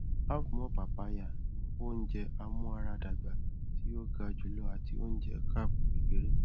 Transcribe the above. have more papaya ni ounjẹ amuaradagba ti o ga julọ ati ounjẹ carb kekere